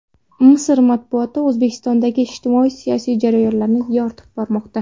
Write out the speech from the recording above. Misr matbuoti O‘zbekistondagi ijtimoiy-siyosiy jarayonlarni yoritib bormoqda.